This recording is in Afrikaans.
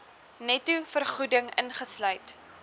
netto vergoeding ingesluit